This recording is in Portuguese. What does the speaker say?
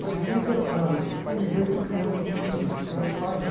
Parecia que era um formigueiro de crianças em cima de mim, porque eu era o pai, né?